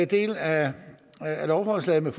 del af lovforslaget om